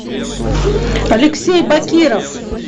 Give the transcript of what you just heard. алексей бакиров